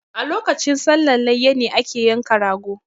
A lokacin sallan layya ne ake yanka ragp